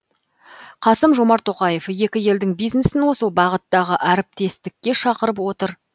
қасым жомарт тоқаев екі елдің бизнесін осы бағыттағы әріптестікке шақырып отыр